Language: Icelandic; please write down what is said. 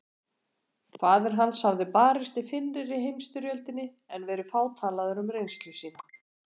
Faðir hans hafði barist í fyrri heimsstyrjöldinni en verið fátalaður um reynslu sína.